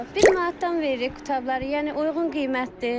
Bir manatdan veririk qutabları, yəni uyğun qiymətdir.